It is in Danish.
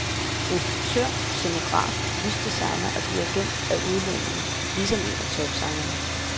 Instruktør, scenograf, lysdesigner og dirigent er udlændinge, ligesom en af topsangerne.